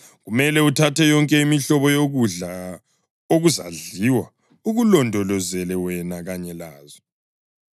Kumele uthathe yonke imihlobo yokudla okuzadliwa, ukulondolozele wena kanye lazo.”